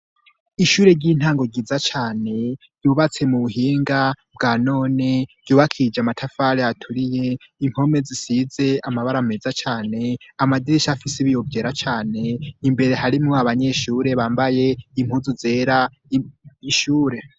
Ishure ry'intango ryiza cane ryubatse mu buhinga bwanone ryubakishije amatafari aturiye, impome zisize amabara meza cane, amadirisha afisi ibiyo vyera cane, imbere harimwo abanyeshure bambaye impuzu zera mw'ishure.